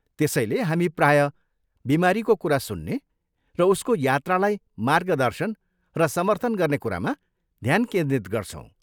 त्यसैले हामी प्रायः बिमारीको कुरा सुन्ने र उसको यात्रालाई मार्गदर्शन र समर्थन गर्ने कुरामा ध्यान केन्द्रित गर्छौँ।